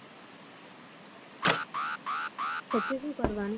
પછી શું કરવાનું